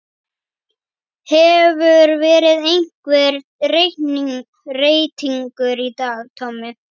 Hefur verið einhver reytingur í dag Tommi?